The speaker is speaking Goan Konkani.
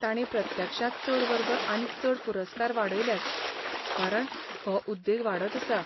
तांणी प्रत्यक्षांत चड वर्ग आनी चड पुरस्कार वाडयल्यात कारण हो उद्देग वाडत आसा.